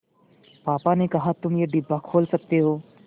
पापा ने कहा तुम ये डिब्बा खोल सकते हो